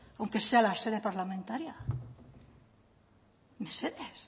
aunque sea la sede parlamentaria mesedez